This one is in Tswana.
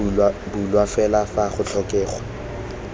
bulwa fela fa go tlhokega